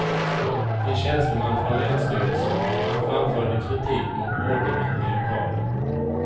En tjänsteman från länsstyrelsen framförde kritik mot ordningen i lokalen.